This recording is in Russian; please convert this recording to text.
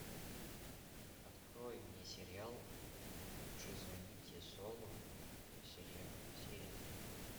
открой мне сериал лучше звоните солу серия три